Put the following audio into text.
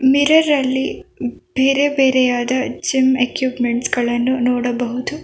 Mirror ಅಲ್ಲಿ ಬೇರೆ ಬೇರೆಯಾದ ಜಿಮ್ ಎಕ್ಯುಪ್ಮೆಂಟ್ಸ ಗಳನ್ನು ನೋಡಬಹುದು.